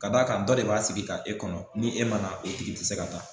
Ka d'a kan dɔ de b'a sigi ka e kɔnɔ, ni e mana o tigi ti se ka taa